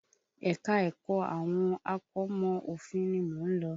Ẹ̀ka ẹ̀kọ́ àwọn akọ́mọ̀ òfin ni mo ń lọ.